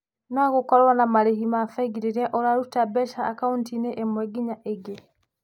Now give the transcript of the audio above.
No gũkorũo na marĩhi ma bengi rĩrĩa ũraruta mbeca akaũnti-inĩ ĩmwe nginya ĩngĩ.